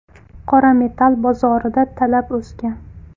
Qora metall bozorida talab o‘sgan.